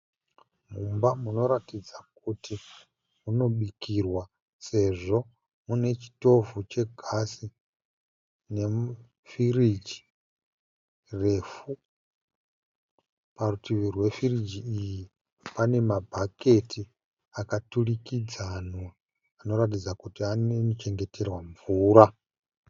Mumba munoratidza kuti munobikirwa sezvo mune chitovhu chegasi ne firiji refu. Parutivi rwefiji iyi panemabhaketi akaturikidzwanwa anoratidza kuti anochengeterwa mvura.